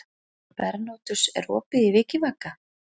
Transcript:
Bernódus, er opið í Vikivaka?